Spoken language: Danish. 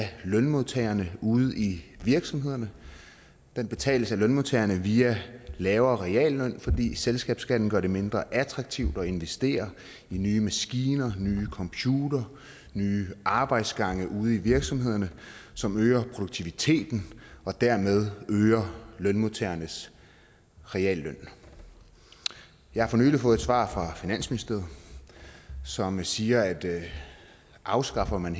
lønmodtagerne ude i virksomhederne den betales af lønmodtagerne via en lavere realløn fordi selskabsskatten gør det mindre attraktivt at investere i nye maskiner nye computere og nye arbejdsgange ude i virksomhederne som øger produktiviteten og dermed øger lønmodtagernes realløn jeg har for nylig fået et svar fra finansministeriet som siger at afskaffer man